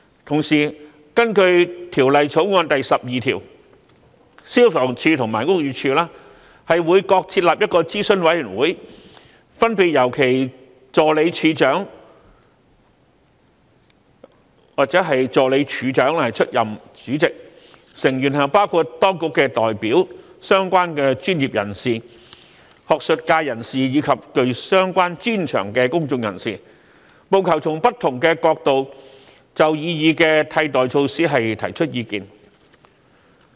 同時，根據《條例草案》第12條，消防處及屋宇署會各設立一個諮詢委員會，分別由其助理處長/助理署長出任主席，成員包括當局代表、相關專業人士、學術界人士及具相關專長的公眾人士，務求從不同角度就擬議的替代措施提出意見。